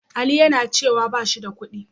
Ali yana cewa ba shi da kuɗi.